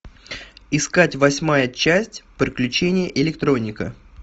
искать восьмая часть приключения электроника